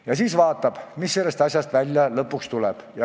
Ja siis vaatame, mis sellest lõpuks välja tuleb.